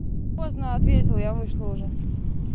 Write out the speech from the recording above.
поздно ответил я вышла уже